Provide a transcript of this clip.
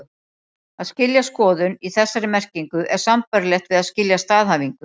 Að skilja skoðun, í þessari merkingu, er sambærilegt við að skilja staðhæfingu.